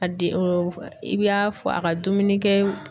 A di i b'a fɔ a ka dumuni kɛ